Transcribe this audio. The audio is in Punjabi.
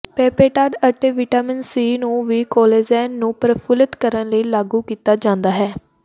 ਪੇਪੇਟਾਡ ਅਤੇ ਵਿਟਾਮਿਨ ਸੀ ਨੂੰ ਵੀ ਕੋਲੇਜੇਨ ਨੂੰ ਪ੍ਰਫੁੱਲਤ ਕਰਨ ਲਈ ਲਾਗੂ ਕੀਤਾ ਜਾਂਦਾ ਹੈ